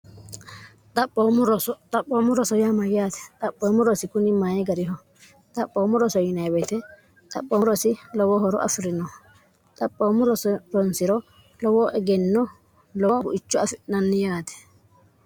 xxaphoommo roso yaama yaate xaphoommu rosi kuni maye gariho xaphoommo roso ynte xaphoomu rosi lowo horo afi'rino xaphoommo roso ronsi'ro lowoo egenno lowo buicho afi'nanni yaate